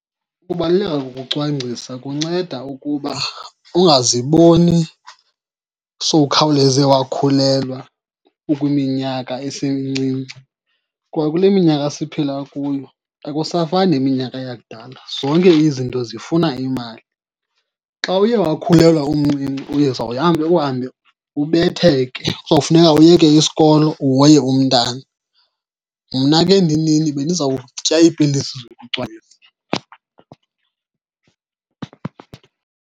Ukubaluleka kokucwangcisa kunceda ukuba ungaziboni sowukhawuleze wakhulelwa ukwiminyaka esemincinci. Kwa kule minyaka esiphila kuyo akusafani neminyaka yakudala, zonke izinto zifuna imali. Xa uye wakhulelwa umncinci uzawuhambe uhambe ubetheke, kuzofuneka uyeke isikolo uhoye umntana. Mna ke ndinini bendiza kutya iipilisi zokucwangcisa.